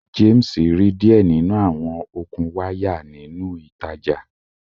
James ri diẹ ninu awọn okun waya ninu itaja